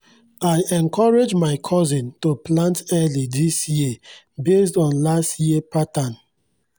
i encourage my cousin to plant early this year based on last year pattern